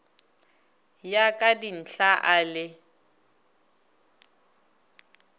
ya ka dinthla a le